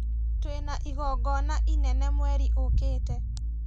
Twĩna igongona inene mweri ũkĩte